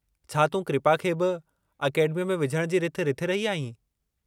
छा तूं कृपा खे बि अकेडमीअ में विझणु जी रिथ रिथे रही आहीं?